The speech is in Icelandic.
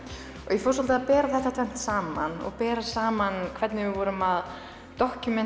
ég fór svolítið að bera þetta tvennt saman og bera saman hvernig við vorum að